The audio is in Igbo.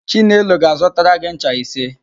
Chinelo ga-azụtara gị ncha ise.